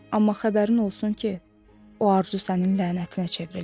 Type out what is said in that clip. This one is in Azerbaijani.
Amma xəbərin olsun ki, o arzu sənin lənətinə çevrildi.